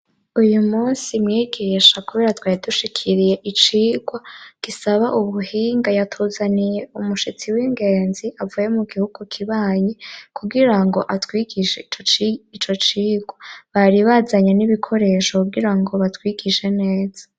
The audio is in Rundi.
Uy'umusi mwigisha kubera twari dushikiriye icirwa gisab' ubuhinga ,yatuzaniye umushitsi w'ingenzi avuye mu gihugu kibanye ,kugirango atwigishe ico cirwa ,bari bazanye n'ibikoresho kugirango batwigishe neza.